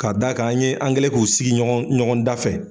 Ka da k'an an ye an kɛlen k'u sigi ɲɔgɔnda fɛ.